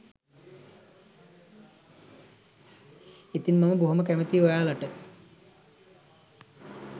ඉතින් මම බොහොම කැමතියි ඔයාලට